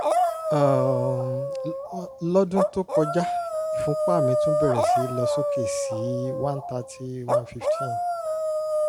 um lọ́dún tó kọjá ìfúnpá mi tún bẹ̀rẹ̀ sí lọ sókè sí 130/115